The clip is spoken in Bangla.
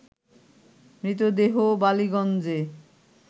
মৃতদেহ বালিগঞ্জে